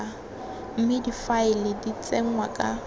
mme difaele di tsenngwa ka